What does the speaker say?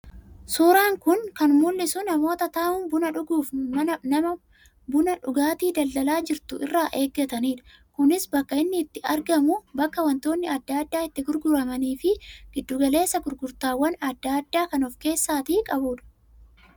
Suuraan kun kan mul'isu namoota taa'uun buna dhuguuf nama buna dhugaatii daldalaa jirtu irraa eeggataniidha. Kunis bakka inni itti argamu bakka wantoonni addaa addaa itti gurgaramanii fi giddu galeessa gurgurtaawwan addaa addaa kan of keessaa qabuudha.